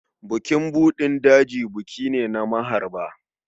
Bukin buɗin daji buki ne na maharba.